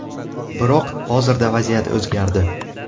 Biroq hozirda vaziyat o‘zgardi.